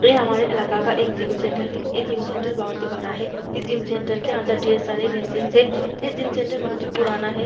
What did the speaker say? ये हमारे इलाक़े का एक जीम सेंटर है ये जीम सेंटर बहुत ही बड़ा है इस जीम सेंटर के अंदर ढेर सारे मशीन्स है ये जीम सेंटर बहुत ही पुराना है ।